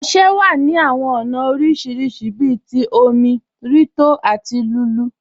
Ọṣẹ wà ní awọn ọna oríṣiríṣì bí òmi, rí tó àti lulú.